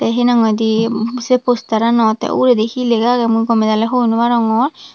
tey hinang hoidey sei posteranot tey uguredi hi lega agey mui gomey daley hoi naw arongor.